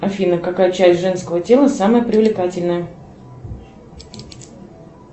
афина какая часть женского тела самая привлекательная